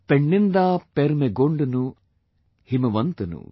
Penninda permegondanu himavantanu